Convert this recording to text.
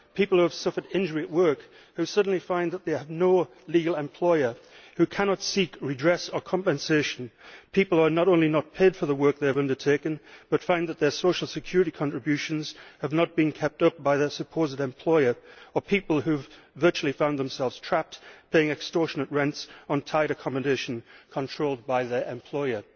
people who have suffered injury at work, who suddenly find that they have no legal employer, who cannot seek redress or compensation, people who are not only not paid for the work they have undertaken but find that their social security contributions have not been kept up by their supposed employer, or people who have virtually found themselves trapped, paying extortionate rents on tied accommodation controlled by their employer'.